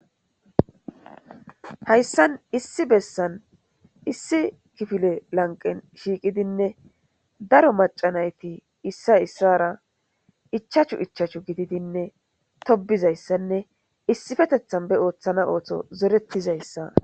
Haysan issi bessan issi kifile lanqe shiqidi daro mac'c'a nayti isi isara ichachchu ichachchu gididinne tobizaysanne issipetethan be othana oso zoretizaysa.